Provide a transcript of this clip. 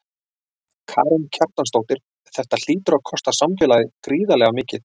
Karen Kjartansdóttir: Þetta hlýtur að kosta samfélagið gríðarlega mikið?